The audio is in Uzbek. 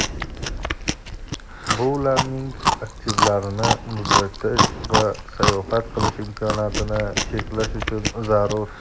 bu ularning aktivlarini muzlatish va sayohat qilish imkoniyatini cheklash uchun zarur.